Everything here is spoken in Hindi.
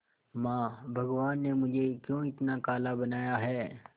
मां भगवान ने मुझे क्यों इतना काला बनाया है